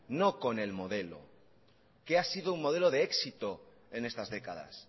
no con el modelo que ha sido un modelo de éxito en estas décadas